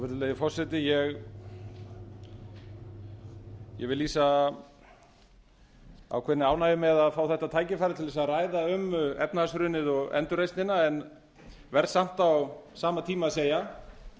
virðulegi forseti ég vil lýsa ákveðinni ánægju með að fá þetta tækifæri til að ræða um efnahagshrunið og endurreisnina en verð samt á sama tíma að segja